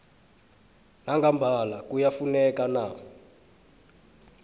nangambala kuyafuneka na